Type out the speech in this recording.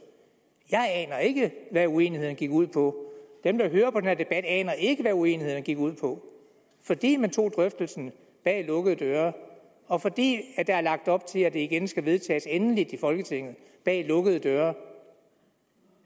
jeg aner ikke hvad uenighederne gik ud på dem der hører på den her debat aner ikke hvad uenighederne gik ud på fordi man tog drøftelsen bag lukkede døre og fordi der er lagt op til at det igen skal vedtages endeligt i folketinget bag lukkede døre